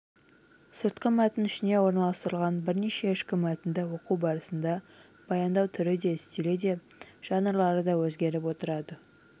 сыртқы мәтін ішіне орналастырылған бірнеше ішкі мәтінді оқу барысында баяндау түрі де стилі де жанрлары да өзгеріп отырады